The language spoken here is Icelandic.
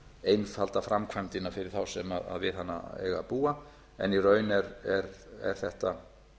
einfalda framkvæmdina fyrir þá sem við hana eiga að búa en í raun er þetta